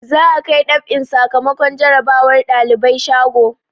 Za'a kai dab'in sakamakon jarabawar ɗalibai shago.